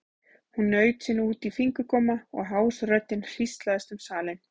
Hún naut sín út í fingurgóma og hás röddin hríslaðist um salinn.